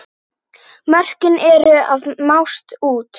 Mörkin eru að mást út.